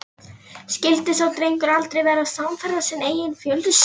Skyldi sá drengur aldrei verða samferða sinni eigin fjölskyldu?